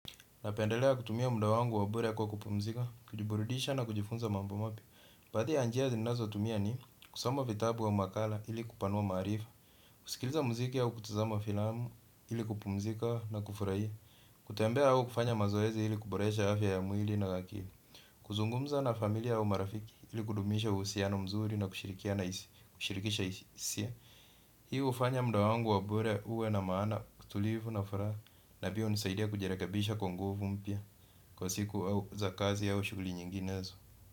Napendelea kutumia muda wangu wa bure kwa kupumzika, kujiburidisha na kujifunza mambo mapya. Baadhi ninazotumia kusoma vitabu au makala ili kupanua maarifa. Kusikiliza muziki au kutazama filamu ili kupumzika na kufurahia. Kutembea au kufanya mazoezi ili kuboresha afya ya mwili na ya akili. Kuzungumza na familia au marafiki ili kudumisha uhusiano mzuri na kushirikisha hisia. Hii hufanya muda wangu wa bure uwe na maana utulivu na furaha na pia hunisaidia kujirekabisha kwa nguvu mpya. Kwa siku za kazi ya au shughuli nyinginezo.